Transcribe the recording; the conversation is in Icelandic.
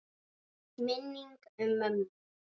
Minning um mömmu.